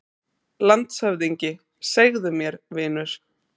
LANDSHÖFÐINGI: Segðu mér, vinur.